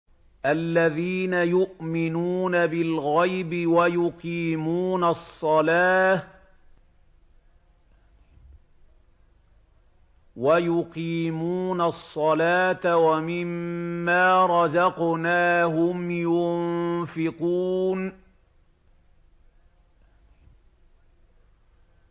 الَّذِينَ يُؤْمِنُونَ بِالْغَيْبِ وَيُقِيمُونَ الصَّلَاةَ وَمِمَّا رَزَقْنَاهُمْ يُنفِقُونَ